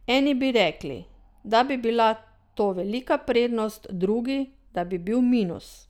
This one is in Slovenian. Eni bi rekli, da bi bila to velika prednost, drugi, da bi bil minus.